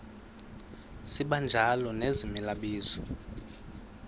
sibanjalo nezimela bizo